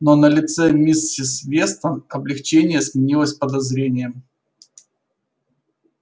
но на лице миссис вестон облегчение сменилось подозрением